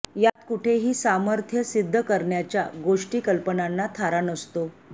यात कुठेही सामर्थ्य सिद्ध करण्याच्या गोष्टी कल्पनांना थारा नसतो